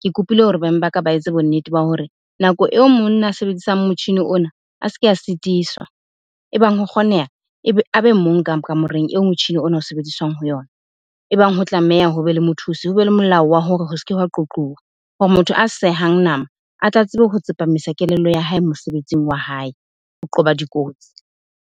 Ke kopile hore beng baka ba etse bonnete ba hore nako eo monna a sebedisang motjhini ona, a se ke a sitiswa. Ebang ho kgoneha a be mong ka kamoreng e motjhini ona o sebediswang ho yona. Ebang ho tlameha ho be le mothusi, ho be le molao wa hore ho se ke hwa qoquwa. motho a sehang nama, a tla tsebe ho tsepamisa kelello ya hae mosebetsing wa hae ho qoba dikotsi.